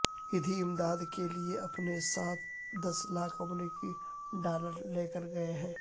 ایدھی امداد کے لیئے اپنے ساتھ دس لاکھ امریکی ڈالر لے کرگئے ہیں